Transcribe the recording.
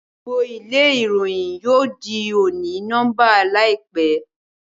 gbogbo ilé ìwé Ìròyìn yóò dì oni-nọmba láìpé